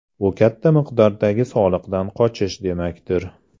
Bu katta miqdordagi soliqdan qochish demakdir.